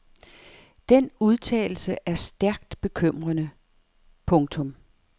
Den udtalelse er stærkt bekymrende. punktum